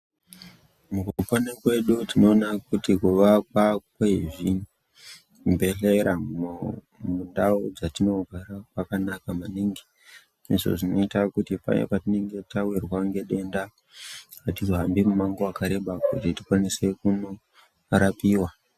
Mukupona kwedu tinoona kuti kuvakwa kwezvibhedhlera mumundau dzatinogara kwakanaka maningi. Izvo zvinoita kuti paya patinenge tawirwa ngedenda atihambi mumango wakareba ,kuti tikwanise kunorapiwa.